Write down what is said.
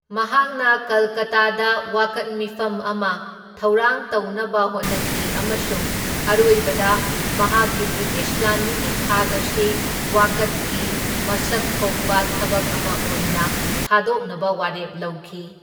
ꯃꯍꯥꯛꯅ ꯀꯜꯀꯇꯥꯗ ꯋꯥꯀꯠ ꯃꯤꯐꯝ ꯑꯃ ꯊꯧꯔꯥꯡ ꯇꯧꯅꯕ ꯍꯣꯠꯅꯈꯤ ꯑꯃꯁꯨꯡ ꯑꯔꯣꯏꯕꯗ ꯃꯍꯥꯛꯀꯤ ꯕ꯭ꯔꯤꯇꯤꯁ ꯂꯥꯟꯃꯤꯒꯤ ꯊꯥꯛ ꯑꯁꯤ ꯋꯥꯀꯠꯀꯤ ꯃꯁꯛ ꯊꯣꯛꯄ ꯊꯕꯛ ꯑꯃ ꯑꯣꯏꯅ ꯊꯥꯗꯣꯛꯅꯕ ꯋꯥꯔꯦꯞ ꯂꯧꯈꯤ꯫